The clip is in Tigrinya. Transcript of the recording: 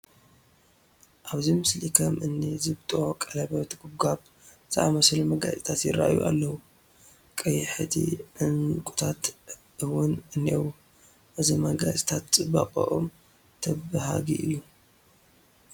ኣብዚ ምስሊ ከም እኒ ዝብጦ፣ ቀለበት፣ ጐባጉብ ዝኣምሰሉ መጋየፅታት ይርአዩ ኣለዉ፡፡ ቀያሕቲ ዕንቒታት እውን እኔዉ፡፡ እዞም መጋየፅታት ፅባቐኦም ተበሃጊ እዩ፡፡